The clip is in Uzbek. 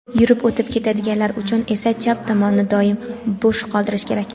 Yurib o‘tib ketadiganlar uchun esa chap tomonni doim bo‘sh qoldirish kerak.